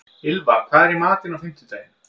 Ylfa, hvað er í matinn á fimmtudaginn?